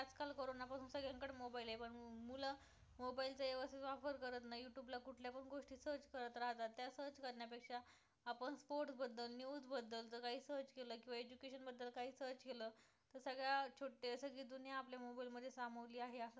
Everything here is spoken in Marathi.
search केलं तर सगळ्या छोटं सगळी दुनिया आपल्या mobile मध्ये सामवली आहे असं पण म्हंटल जातं